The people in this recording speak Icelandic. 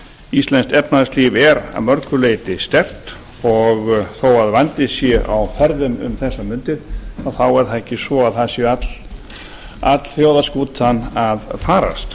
íslenskt efnahagslíf er að mörgu leyti sterkt og þó að vandi sé á ferðum um þessar mundir þá er það ekki svo að það sé öll þjóðarskútan að farast